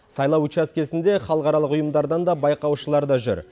сайлау учаскесінде халықаралық ұйымдардан да байқаушылар да жүр